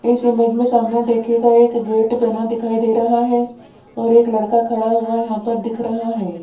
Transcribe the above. इस इमेज में सामने देखिएगा एक गेट बना दिखाई दे रहा है और एक लड़का खड़ा हुआ यहां पर दिख रहा है।